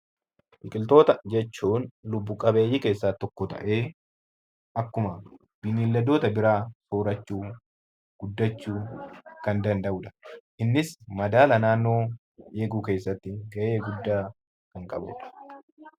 Biqiltoota jechuun lubbu qabeeyyii keessaa tokkoo ta'anii akkuma beeyaladoota biraa soorachuun guddachuu kan danda'uudha. Innis madaala naannoo keessatti of eeguu keessatti ga'ee guddaa kan qabuu dha.